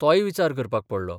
तोय विचार करपाक पडलो.